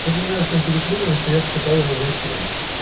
что-то меня в общем переклинило что я покупал его за семь